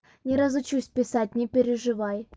не разучусь писать не переживай